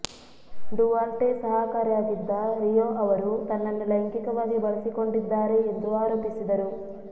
Duarte ಸಹಾಕರಾಗಿದ್ದ Rio ಅವರು ತನ್ನನ್ನು ಲೈಂಗಿಕವಾಗಿ ಬಳಸಿಕೊಂಡಿದ್ದಾರೆ ಎಂದು ಆರೋಪಿಸಿದರು